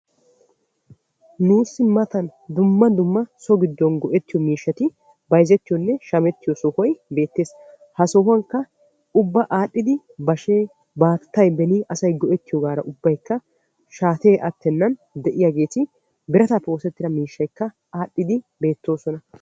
Nuusi matan dumma dumma so giddon go'ettiyo miishshati bayzzetiyone shammettiyo sohoy beettees. Ha sohuwankka ubba adhdhidi bashe, baattay beni aay go'ettiyogaara ubbaykka shaatte attenan de'iyagetti biratappe oosettida miishshaykka adhdhidi beettoosona.